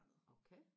okay